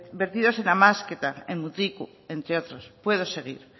vertidos en amezketa en mutriku entre otros puedo seguir